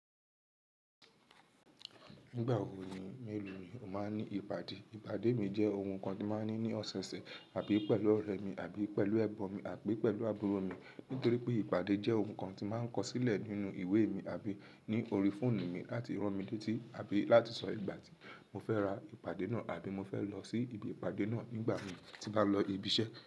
Nígbà wo ni mélòó ni ó máa ní ìpàdé? Ìpàdé mi jẹ́ oun kan tí máa ń ní ní ọ̀sẹ̀ẹ̀sẹ̀ àbí pẹ̀lú ọ̀rẹ́ mi àbí pẹ̀lú ẹ̀bọ́n mi àpé pẹ̀lú àbúrò mi. Nítorí pé ìpàdé jẹ́ ohun kan tí máa ń kọ sílẹ̀ nínú ìwé mi àbí ní orí fóònù mi láti rán mi létí àbí láti sọ ìgbà tí mo fẹ́ ra ìpàdé náà àbí mo fẹ́ lọ sí ibi ìpàdé náà nígbà mi tí bá lọ ibi iṣẹ́.